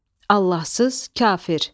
Allahsız, kafir.